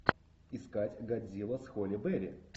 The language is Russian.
искать годзилла с холли берри